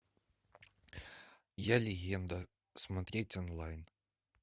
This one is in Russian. я легенда смотреть онлайн